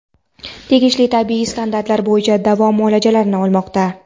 tegishli tibbiy standartlar bo‘yicha davo muolajalarini olmoqda.